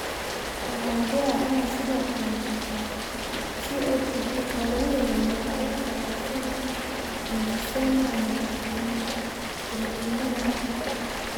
Waxaa laga yaabaa inaad sidoo kale maqashay COPD oo loogu yeero magacyo kale, sida emphysema ama boronkiitada raaga.